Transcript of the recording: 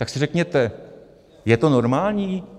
Tak si řekněte, je to normální?